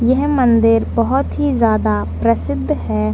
यह मंदिर बहुत ही ज्यादा प्रसिद्ध है।